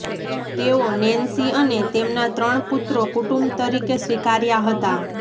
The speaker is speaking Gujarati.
તેઓ નેન્સી અને તેમના ત્રણ પુત્રો કુટુંબ તરીકે સ્વીકાર્યા હતા